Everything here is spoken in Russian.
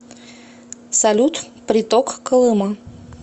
салют приток колыма